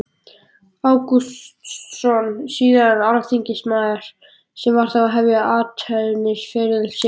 Ágústsson, síðar alþingismaður, sem þá var að hefja athafnaferil sinn.